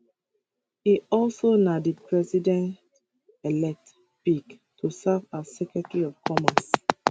e also na di presidentelect pick to serve as secretary of commerce